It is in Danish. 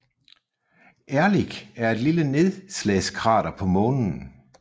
Ehrlich er et lille nedslagskrater på Månen